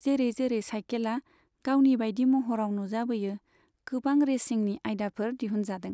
जेरै जेरै सायखेला गावनि बायदि महराव नुजाबोयो, गोबां रेसिंनि आयदाफोर दिहुनजादों।